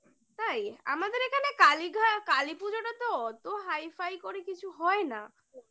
তাই? আমাদের এখানে কালীঘাট, কালীপুজোটা তো অতো high -ফাই করে কিছু হয় না